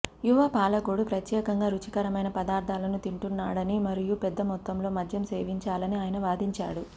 యువ పాలకుడు ప్రత్యేకంగా రుచికరమైన పదార్ధాలను తింటున్నాడని మరియు పెద్ద మొత్తంలో మద్యం సేవించాలని ఆయన వాదించాడు